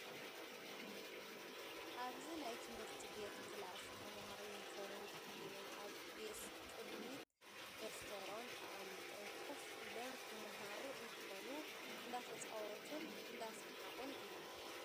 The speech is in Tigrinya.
ኣብ ናይ ትምህርቲ ቤት ክላስ ተማሃሮ ዩኒፎርም ተከዲኖም ኣብ ዴስክ ቅድሚት ደፍቶሮም ኣቅሚጦም ኮፍ ኢሎም ክማሃሮ እንትኮኑ፣ እንዳተፃወቱን እንዳሳሓቁን እዮም።